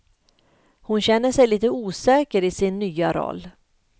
Hon känner sig lite osäker i sin nya roll.